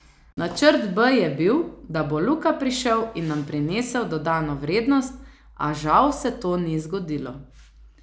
Načrt B je bil, da bo Luka prišel in nam prinesel dodano vrednost, a žal se to ni zgodilo.